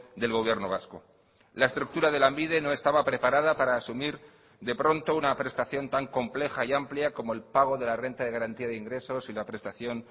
del gobierno vasco la estructura de lanbide no estaba preparada para asumir de pronto una prestación tan compleja y amplia como el pago de la renta de garantía de ingresos y la prestación